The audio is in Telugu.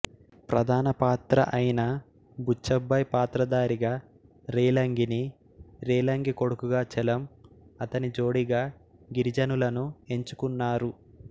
ప్రధానపాత్ర అయిన బుచ్చబ్బాయ్ పాత్రధారిగా రేలంగినీ రేలంగి కొడుకుగా చలం అతని జోడీగా గిరిజలను ఎంచుకున్నారు